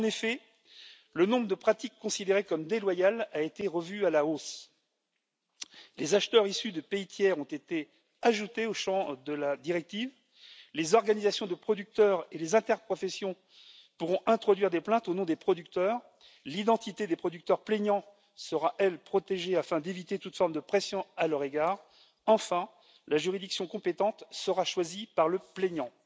En effet, le nombre de pratiques considérées comme déloyales a été revu à la hausse, les acheteurs issus de pays tiers ont été ajoutés au champ d'application de la directive, les organisations de producteurs et les interprofessions pourront introduire des plaintes au nom des producteurs, l'identité des producteurs plaignants sera, elle, protégée, afin d'éviter toute forme de pression à leur égard, et enfin, la juridiction compétente sera choisie par le plaignant.